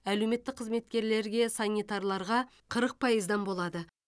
әлеуметтік қызметкерлерге санитарларға қырық пайыздан болады